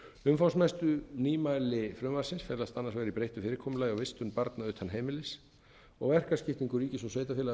umfangsmestu nýmæli frumvarpsins felast annars vegar í breyttu fyrirkomulagi á vistun barna utan heimilis og verkaskiptingu ríkis og sveitarfélaga því